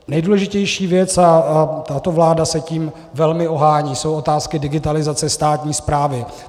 Nejdůležitější věc, a tato vláda se tím velmi ohání, jsou otázky digitalizace státní správy.